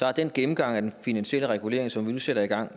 har den gennemgang af den finansielle regulering som vi nu sætter i gang